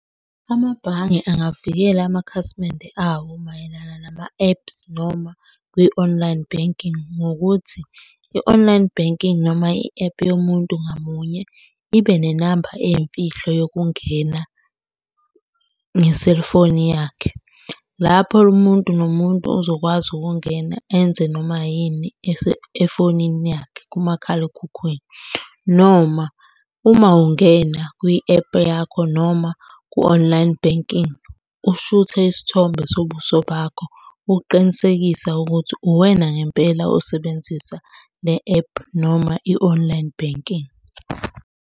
Amabhange angavikela amakhasimende awo mayelana nama-ephu noma kwi-online banking ngokuthi i-online banking noma i-ephu yomuntu ngamunye ibe nenamba eyimfihlo yokungena nge-cellphone yakhe. Lapho umuntu nomuntu ozokwazi ukungena enze noma yini efonini yakhe kumakhalekhukhwini, noma uma ungena kwi-ephu yakho noma ku-online banking, ushuthe isithombe sobuso bakho ukuqinisekisa ukuthi uwena ngempela osebenzisa le ephu noma i-online banking.